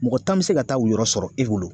Mɔgɔ tan bi se ka taa u yɔrɔ sɔrɔ e bolo